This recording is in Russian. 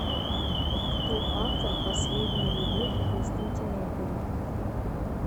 кто автор последняя любовь в константинополе